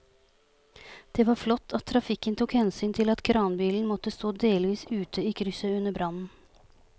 Det var flott at trafikken tok hensyn til at kranbilen måtte stå delvis ute i krysset under brannen.